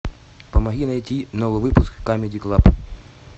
помоги найти новый выпуск камеди клаб